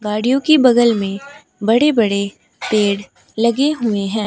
गाड़ियों की बगल में बड़े बड़े पेड़ लगे हुए हैं।